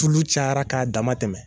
Tulu cayara k'a dama tɛmɛ.